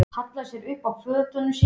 Hallaði sér upp að fötunum sínum.